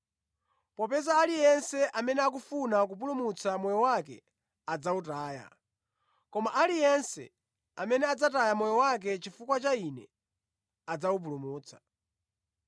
Popeza aliyense amene akufuna kupulumutsa moyo wake adzawutaya, koma aliyense amene adzataya moyo wake chifukwa cha Ine adzawupulumutsa.